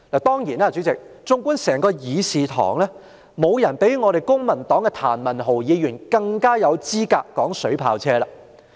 當然，主席，縱觀整個會議廳，沒有人比我們公民黨的譚文豪議員更有資格談論水炮車。